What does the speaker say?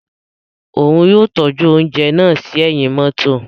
Òún yóò tọju ounjẹ náà sí ẹhin mọto